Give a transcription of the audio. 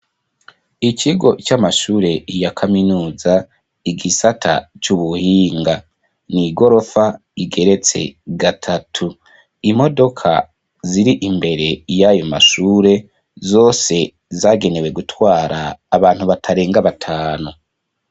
Ikigo, c'amashure ya kaminuza, igisata c'ubuhinga; ni igorofa, igeretse gatatu; imodoka, ziri imbere y'ayo mashure, zose zagenewe, gutwara abantu, batarenga batanu.